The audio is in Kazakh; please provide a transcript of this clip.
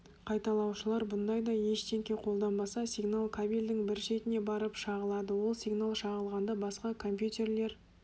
қайталаушылар бұндай да ештеңке қолданбаса сигнал кабельдің бір шетіне барып шағылады ал сигнал шағылғанда басқа компьютерлер